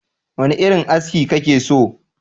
Wane irin aski kake so?